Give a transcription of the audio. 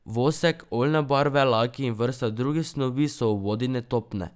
Vosek, oljne barve, laki in vrsta drugih snovi so v vodi netopne.